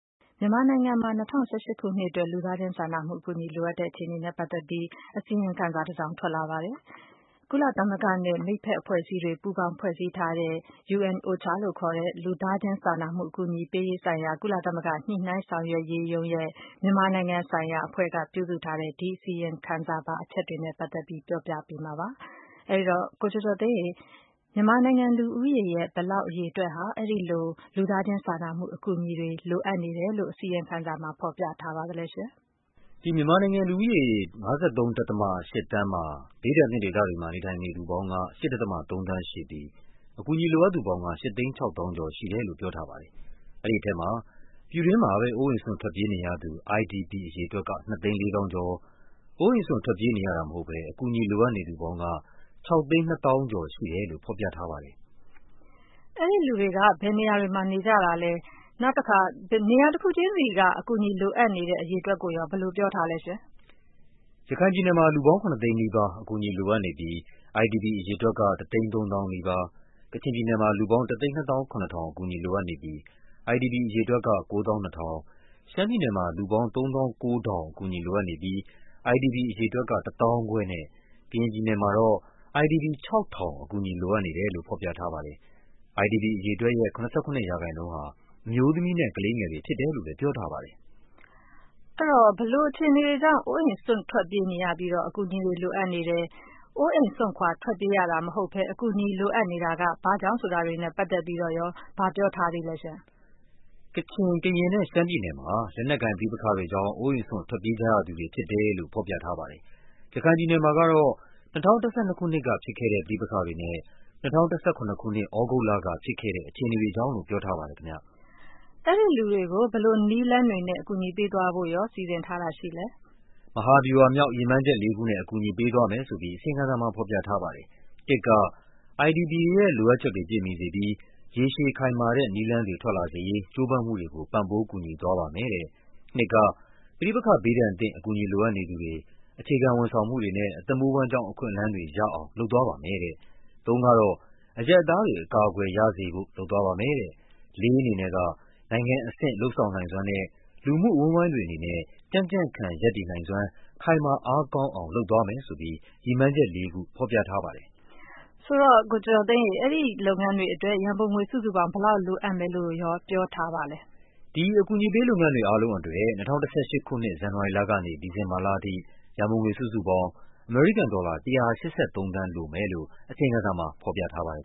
မြန်မာနိုင်ငံမှာ ၂၀၁၈ ခုနှစ်အတွက် လူသားချင်းစာနာမှုအကူအညီ လိုအပ်တဲ့အခြေအနေနဲ့ပတ်သက်ပြီး အစီရင် ခံစာတစောင် ထွက်လာပါတယ်။ ကုလသမဂ္ဂနဲ့ မိတ်ဘက်အဖွဲ့အစည်းတွေ ပူးပေါင်းဖွဲ့စည်းထားတဲ့ UNOCHA လို့ခေါ်တဲ့ လူသား ချင်းစာနာမှု အကူအညီပေးရေးဆိုင်ရာ ကုလသမဂ္ဂ ညှိနှိုင်းဆောင်ရွက်ရေးရုံးရဲ့ မြန်မာနိုင်ငံဆိုင်ရာအဖွဲ့က ပြုစုထားတဲ့ ဒီအစီရင် ခံစာပါ အချက်တွေနဲ့ပတ်သက်ပြီး ပြောပြပါ့မယ်။ ကိုကျော်ကျော်သိန်းက မခွာညိုနဲ့အတူ တင်ဆက်ပေးမှာပါ။ မြန်မာနိုင်ငံလူဦးရေရဲ့ ဘယ်လောက်အရေအတွက်ဟာ အဲဒီလို လူသားချင်းစာနာမှုအကူအညီတွေ လိုအပ်နေတယ်လို့ ဖော်ပြထားပါလဲ။ မြန်မာနိုင်ငံလူဦးရေ ၅၃.၈ သန်းမှာ ဘေးဒဏ်သင့်ဒေသတွေမှာ နေထိုင်နေသူပေါင်းက ၈.၃ သန်းရှိပြီး အကူအညီ လိုအပ်သူပေါင်းက ၈ သိန်း ၆ သောင်းကျော်ရှိတယ်လို့ ပြောထားပါတယ်။ အဲဒီထဲမှာ ပြည်တွင်းမှာပဲ အိုးအိမ်စွန့် ထွက်ပြေးနေရ သူ IDP အရေအတွက်က ၂ သိန်း ၄ သောင်းကျော်၊ အိုးအိမ်စွန့်ထွက်ပြေးနေရတာမဟုတ်ဘဲ အကူအညီလိုအပ်နေသူပေါင်းက ၆ သိန်း ၂ သောင်းကျော်ရှိတယ်လို့ ဖော်ပြထားပါတယ်။ အဲဒီလူတွေက ဘယ်နေရာတွေမှာရှိနေကြတာပါလဲ၊ နေရာတခုချင်းစီက အကူအညီလိုအပ်သူ အရေအတွက်ကိုရော ဘယ်လိုပြောထားပါလဲ။ ရခိုင်ပြည်နယ်မှာ လူပေါင်း ၇ သိန်းနီးပါး အကူအညီလိုအပ်နေပြီး IDP အရေအတွက်က ၁ သိန်း ၃ သောင်းနီးပါး၊ ကချင် ပြည်နယ်မှာ လူပေါင်း ၁၂၇၀၀၀ အကူအညီလိုအပ်နေပြီး IDP အရေအတွက်က ၉၂၀၀၀၊ ရှမ်းပြည်နယ်မှာ လူပေါင်း ၃၉၀၀၀ အကူအညီလိုအပ်နေပြီး IDP အရေအတွက်က ၁၅၀၀၀ နဲ့ ကရင်ပြည်နယ်မှာတော့ IDP ၆၀၀၀ အကူအညီလိုအပ်နေတယ်လို့ ဖော်ပြထားပါတယ်။ IDP အရေအတွက်ရဲ့ ၇၇% ဟာ အမျိုးသမီးနဲ့ ကလေးငယ်တွေဖြစ်တယ်လို့လဲ ပြောထားပါတယ်။ ဘယ်လိုအခြေအနေတွေကြောင့် အိုးအိမ်စွန့် ထွက်ပြေးရပြီး အကူအညီလိုအပ်နေတယ်၊ အိုးအိမ်စွန့်ထွက်ပြေးရတာ မဟုတ်ဘဲ အကူအညီလိုအပ်နေတာက ဘာ့ကြောင့်ဆိုတာတွေနဲ့ပတ်သက်ပြီး ဘာပြောထားပါလဲ။ ကချင်၊ ကရင်နဲ့ ရှမ်းပြည်နယ်မှာ လက်နက်ကိုင်ပဋိပက္ခတွေကြောင့် အိုးအိမ်စွန့် ထွက်ပြေးကြရသူတွေဖြစ်တယ်လို့ ဖော်ပြထားပါတယ်။ ရခိုင်ပြည်နယ်မှာကတော့ ၂၀၁၂ ခုနှစ်ကဖြစ်ခဲ့တဲ့ ပဋိပက္ခတွေနဲ့ ၂၀၁၇ ခုနှစ် သြဂုတ်လကဖြစ်ခဲ့တဲ့ အခြေ အနေတွေကြောင့်လို့ ပြောထားပါတယ်။ အဲဒီလူတွေကို ဘယ်လိုနည်းလမ်းတွေနဲ့ အကူအညီပေးသွားဖို့ စီစဉ်ထားပါလဲ။ မဟာဗျူဟာမြောက် ရည်မှန်းချက်လေးခုနဲ့ အကူအညီပေးသွားမယ်ဆိုပြီး အစီရင်ခံစာမှာဖော်ပြထားပါတယ်။ ၁ က IDP တွေရဲ့လိုအပ်ချက်တွေပြည့်မီစေပြီး ရေရှည်ခိုင်မာတဲ့နည်းလမ်းတွေ ထွက်လာစေရေး ကြိုးပမ်းမှုတွေကို ပံ့ပိုးကူညီသွားပါမယ်တဲ့၊ ၂ က ပဋိပက္ခဘေးဒဏ်သင့် အကူအညီလိုအပ်နေသူတွေ အခြေခံဝန်ဆောင်မှုတွေနဲ့ အသက်မွေးဝမ်းကျောင်းအခွင့်အလန်းတွေ ရအောင် လုပ်သွားပါမယ်တဲ့၊ ၃ က အရပ်သားတွေ အကာအကွယ်ရစေဖို့ လုပ်သွားပါမယ်တဲ့၊ ၄ ကတော့ နိုင်ငံအဆင့် လုပ်ဆောင်နိုင်စွမ်းနဲ့ လူမှုအဝန်းအဝိုင်းတွေအနေနဲ့ ကြံ့ကြံ့ခံရပ်တည်နိုင်စွမ်း ခိုင်မာအားကောင်းအောင် လုပ်သွားမယ်ဆိုပြီး ရည်မှန်းချက် ၄ ခု ဖော်ပြထားပါတယ်။ အဲဒီလုပ်ငန်းတွေအတွက် ရန်ပုံငွေ စုစုပေါင်း ဘယ်လောက် လိုအပ်မယ်လို့ ပြောထားပါလဲ။ ဒီ အကူအညီပေးလုပ်ငန်းတွေ အားလုံးအတွက် ၂၀၁၈ ခုနှစ် ဇန်နဝါရီလကနေ ဒီဇင်ဘာလအထိ ရန်ပုံငွေစုစုပေါင်း အမေရိကန်ဒေါ်လာ ၁၈၃ သန်း လိုမယ်လို့ အစီရင်ခံစာမှာ ဖော်ပြထားပါတယ်